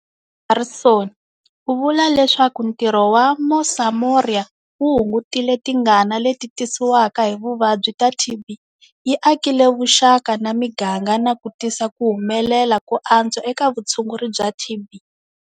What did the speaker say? Harrison u vula leswaku ntirho wa Mosamoria wu hungutile tingana leti tisiwaka hi vuvabyi ta TB, yi akile vuxaka na miganga na ku tisa ku humelela ko antswa eka vutshunguri bya TB.